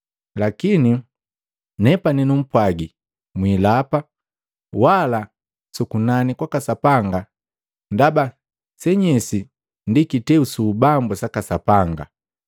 Lakini nepani numpwagi, mwilapa, wala su kunani kwaka Sapanga, ndaba senyesi ndi kiteu su ubambu saka Sapanga,